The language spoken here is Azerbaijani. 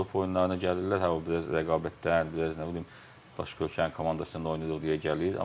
Avropa oyunlarına gəlirlər, hə o biraz rəqabətdən, biraz nə bilim başqa ölkənin komandası ilə oynayır deyə gəlir.